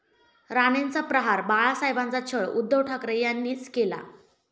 राणेंचा 'प्रहार', 'बाळासाहेबांचा छळ उद्धव ठाकरे यांनीच केला'